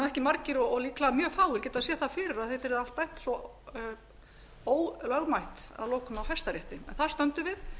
ekki margir og líklega mjög fáir getað séð það fyrir að þetta yrði allt dæmt svo ólögmætt að lokum af hæstarétti þar stöndum við